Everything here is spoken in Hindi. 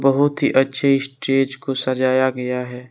बहुत ही अच्छी स्टेज को सजाया गया है।